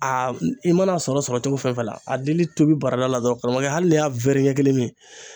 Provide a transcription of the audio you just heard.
i mana sɔrɔ sɔrɔ cogo fɛn fɛn la a dili tobi barada la dɔrɔn karamɔgɔkɛ hali n'i y'a ɲɛ kelen min